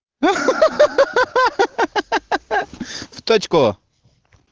ха-ха-ха в точку